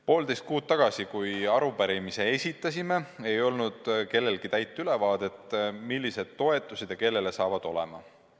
Poolteist kuud tagasi, kui arupärimise esitasime, ei olnud kellelgi täit ülevaadet, millised toetused ja kellele saavad olema.